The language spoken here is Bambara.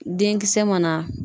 Denkisɛ mana